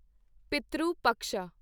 Pitru Paksha